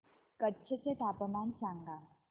कच्छ चे तापमान सांगा